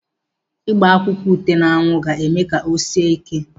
Ịgba akwụkwọ ute n'anwụ ga-eme ka o sie ike dị mma.